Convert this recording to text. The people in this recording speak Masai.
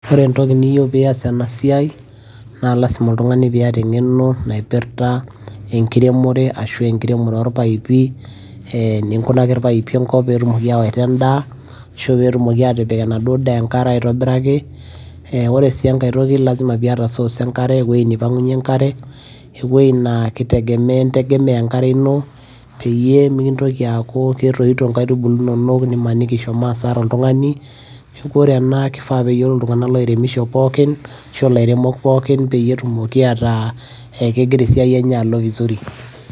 ore entoki niyieu pee ias ena siai naa lasima oltungani pee iyata engeno naipirta, enkiremore, ashu enkiremore orpaipi.ee eninkunaki irpaipi enkop pee etumoki awaita edaa, ashu pee etumoki aatipik enaduo daa enkare .ore sii enkae toki lasima pee iyata source enkare, ewueji neipang'unye enkare, ewuei naa kitegemea integemea enkare ino peyie mikintoki aaku ketoito inkaitubulu inonok nimaniki ishomo asara oltungani. neeku ore ena kifaa neyiolou oltungani oiremisho pookin, ashu aa ilairemok pookin peyie tumoki ataa kegira esiai enye alo vizuri